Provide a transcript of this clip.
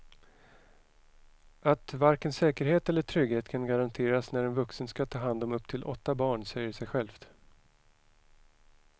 Att varken säkerhet eller trygghet kan garanteras när en vuxen ska ta hand om upp till åtta barn säger sig självt.